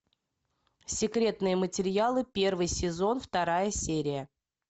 секретные материалы первый сезон вторая серия